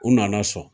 U nana sɔn